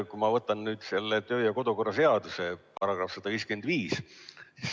Ma võtan ette kodu- ja töökorra seaduse § 155 lõike 1.